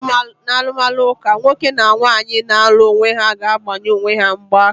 N'alụmalụ ụlọ ụka, nwoke na nwaanyị na-alụ onwe ha ga-agbanye onwe ha mgba aka.